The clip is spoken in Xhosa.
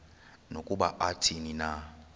nokuba athini na